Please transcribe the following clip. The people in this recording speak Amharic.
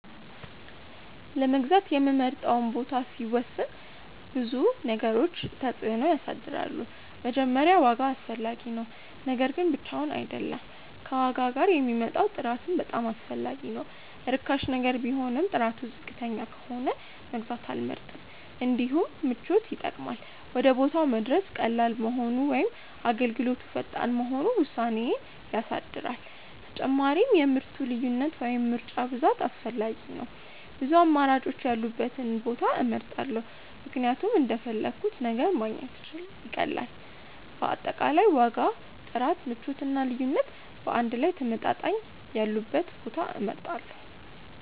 ለመግዛት የምመርጠውን ቦታ ሲወስን ብዙ ነገሮች ተጽዕኖ ያሳድራሉ። መጀመሪያ ዋጋ አስፈላጊ ነው፤ ነገር ግን ብቻውን አይደለም፣ ከዋጋ ጋር የሚመጣው ጥራት በጣም አስፈላጊ ነው። ርካሽ ነገር ቢሆንም ጥራቱ ዝቅተኛ ከሆነ መግዛት አልመርጥም። እንዲሁም ምቾት ይጠቅማል፤ ወደ ቦታው መድረስ ቀላል መሆኑ ወይም አገልግሎቱ ፈጣን መሆኑ ውሳኔዬን ያሳድራል። ተጨማሪም የምርቱ ልዩነት ወይም ምርጫ ብዛት አስፈላጊ ነው፤ ብዙ አማራጮች ያሉበትን ቦታ እመርጣለሁ ምክንያቱም እንደፈለግሁት ነገር ማግኘት ይቀላል። በአጠቃላይ ዋጋ፣ ጥራት፣ ምቾት እና ልዩነት በአንድ ላይ ተመጣጣኝ ያሉበትን ቦታ እመርጣለሁ።